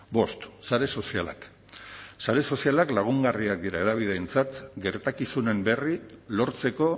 bost sare sozialak sare sozialak lagungarriak dira hedabideentzat gertakizunen berri lortzeko